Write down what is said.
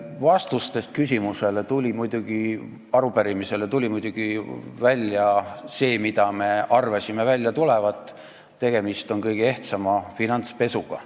Vastustest arupärimisele tuli muidugi välja see, mida me arvasimegi välja tulevat: tegemist on kõige ehtsama finantspesuga.